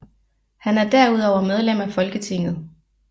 Han er derudover medlem af Folketinget